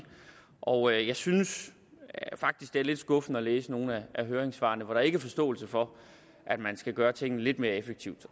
og jeg synes faktisk det er lidt skuffende at læse nogle af høringssvarene hvor der ikke er forståelse for at man skal gøre tingene lidt mere effektivt